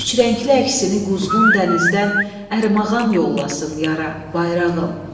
Üçrəngli əksini quzğun dənizdən ərmağan yollasın yara, bayrağım.